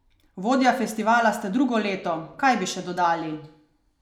Vodja festivala ste drugo leto, kaj bi še dodali?